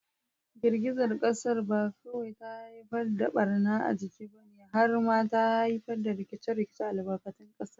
Girgizar kasar ba kawai ta haifar da barna a jiki ba, har ma ta haifar da rikice-rikicen albarkatun kasa.